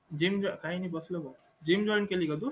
gym join काय नाय बसलो भाऊ gum join केली का तू